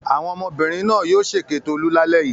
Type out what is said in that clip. Àwọn ọmọbìnrin náà yóò ṣèké Tolú lálẹ́ yìí.